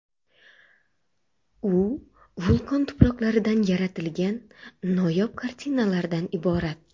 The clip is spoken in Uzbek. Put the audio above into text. U vulqon tuproqlaridan yaratilgan noyob kartinalardan iborat.